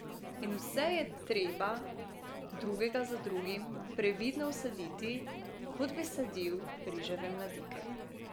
In vse je treba drugega za drugim previdno vsaditi, kot bi sadil riževe mladike.